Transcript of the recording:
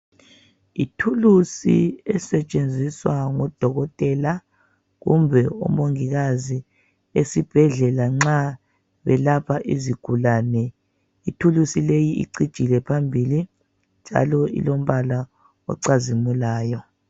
Ithuluzi elisetshenziswa ngodokotela kumbe omongikazi esibhedlela nxa belapha izigulane. Ithuluzi le icijile phambilinjalo ilombala ocazimulayo.